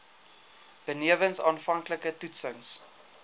benewens aanvanklike toetsings